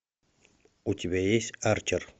у тебя есть арчер